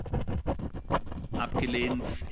38